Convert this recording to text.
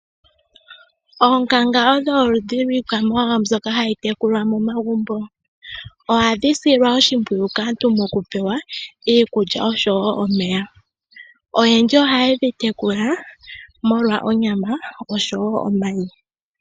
Oonkanga odho oludhi lwiikwamawawa mbyoka hayi tekulwa momagumbo. Ohadhi silwa oshimpwiyu kaantu momagumbo mokupewa iikulya oshowo omeya oyendji ohaye dhi tekula molwa onyama oshowo omayi.